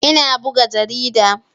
Ina buga jarida.